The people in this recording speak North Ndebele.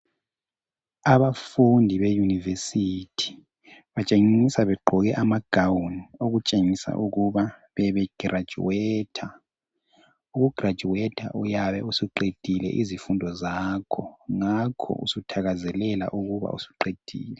Abafundi be university, batshengisa begqoke ama gown, okutshengisa ukuba bebe girajuwetha, uku girajuwetha uyabe usuqedile izifundo zakho, ngakho usuthakazelela ukuba usuqedile.